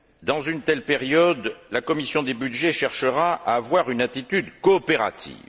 Dans une telle période, la commission des budgets cherchera à avoir une attitude coopérative.